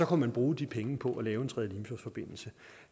kunne man bruge de penge på at lave en tredje limfjordsforbindelse